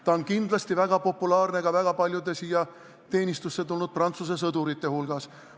Ta on kindlasti väga populaarne ka väga paljude siia teenistusse tulnud Prantsuse sõdurite hulgas.